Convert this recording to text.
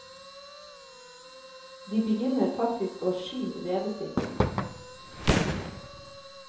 De begynner faktisk å sky redet sitt.